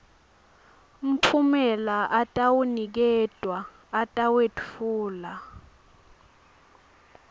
mphumela atawuniketwa atawetfulwa